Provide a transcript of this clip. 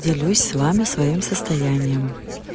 делюсь с вами своим состоянием